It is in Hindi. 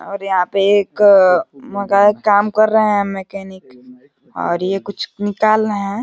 और यहाँ पे एक काम कर रहे हैं मैंकेनिक और ये कुछ निकाल रहे है।